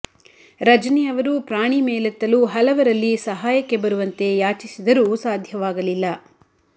ರಜನಿ ಅವರು ಪ್ರಾಣಿ ಮೇಲೆತ್ತಲು ಹಲವರಲ್ಲಿ ಸಹಾಯಕ್ಕೆ ಬರುವಂತೆ ಯಾಚಿಸಿದರೂ ಸಾಧ್ಯವಾಗಲಿಲ್ಲ